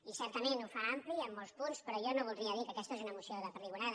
i certament ho fa ampli amb molts punts però jo no voldria dir que aquesta és una moció de perdigonada